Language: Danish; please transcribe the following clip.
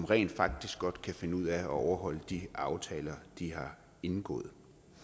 rent faktisk godt kan finde ud af at overholde de aftaler de har indgået